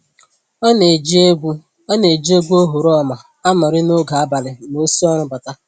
Ọ na-eji egwu Ọ na-eji egwu oghoroma anọrị n'oge abalị ma o si ọrụ bata